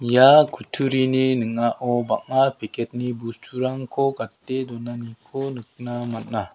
ia kutturini ning·ao bang·a peket ni busturangko gate donaniko nikna man·a.